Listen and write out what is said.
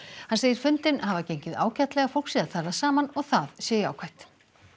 hann segir fundinn hafa gengið ágætlega fólk sé að tala saman og það sé jákvætt